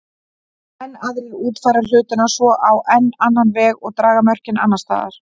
Enn aðrir útfæra hlutina svo á enn annan veg og draga mörkin annars staðar.